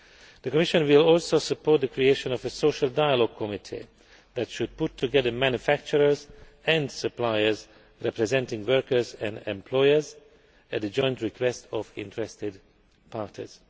sector. The Commission will also support the creation of a social dialogue committee that should bring together manufacturers and suppliers representing workers and employers at the joint request of all interested